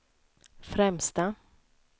främsta